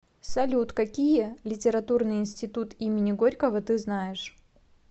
салют какие литературный институт имени горького ты знаешь